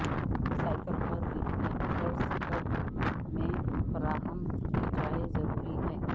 cycle پر reflectors kit میں فراہم کی جائے ضروری ہے